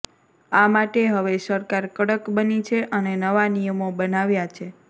આ માટે હવે સરકાર કડક બની છે અને નવા નિયમો બનાવ્યા છે